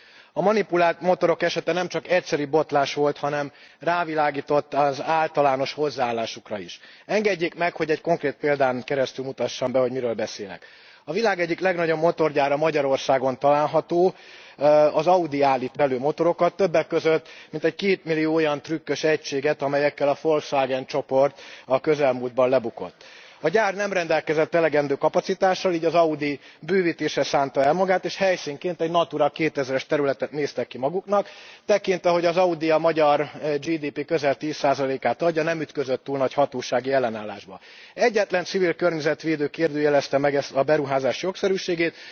Elnök Úr, a Volkswagen botrány hatására szembe kell néznünk az autógyártók valódi értékrendjével. A manipulált motorok esete nem csak egyszeri botlás volt, hanem rávilágított az általános hozzáállásukra is. Engedjék meg, hogy egy konkrét példán keresztül mutassam be, hogy miről beszélek. A világ egyik legnagyobb motorgyára Magyarországon található. Az Audi állít itt elő motorokat, többek között mintegy kétmillió olyan trükkös egységet, amelyekkel a Volkswagen csoport a közelmúltban lebukott. A gyár nem rendelkezett elegendő kapacitással, így az Audi bővítésre szánta el magát, és helyszínként egy Natura 2000 es területet néztek ki maguknak. Tekintve, hogy az Audi a magyar GDP közel 10 át adja nem ütközött túl nagy hatósági ellenállásba. Egyetlen civil környezetvédő kérdőjelezte meg a beruházás jogszerűségét.